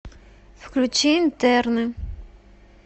включи интерны